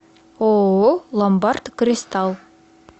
ооо ломбард кристалл